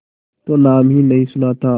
तो नाम ही नहीं सुना था